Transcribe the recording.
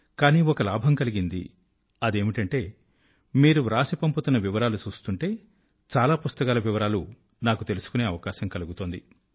కానీ ఒక లాభం కలిగింది అదేమిటంటే మీరు వ్రాసి పంపుతున్న వివరాలు చూస్తుంటే చాలా పుస్తకాల వివరాలు నాకు తెలుసుకొనే అవకశాం కలుగుతోంది